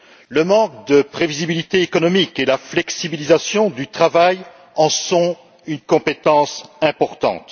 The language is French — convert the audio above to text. Le manque de prévisibilité économique et la flexibilisation du travail en sont une composante importante.